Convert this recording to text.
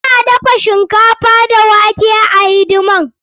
Suna dafa shinkafa da wake wa hidimar.